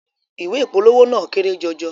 Ìwé ìpolówó náà kéré jọjọ